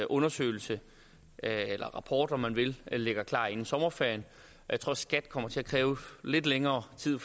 undersøgelse eller rapport om man vil ligger klar inden sommerferien jeg tror skat kommer til at kræve lidt længere tid